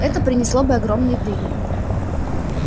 это принесло бы огромные прибыли